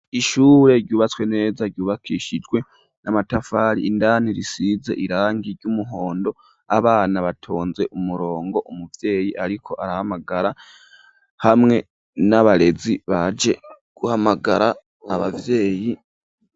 Ishure ryubatswe neza ryubakishijwe n'amatafari ,indani risize irangi ry'umuhondo ,abana batonze umurongo umuvyeyi ariko arahamagara hamwe n'abarezi baje guhamagara abavyeyi.